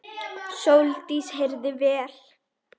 Sóldís heyrði vel.